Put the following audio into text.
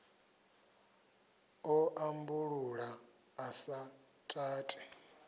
ḓo ambulula a sa tati